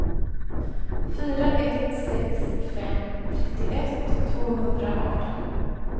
fyra ett sex fem trettioett tvåhundraarton